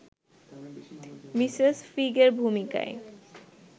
Mrs ফিগের ভূমিকায়